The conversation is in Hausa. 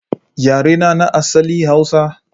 Yarena na asali Hausa.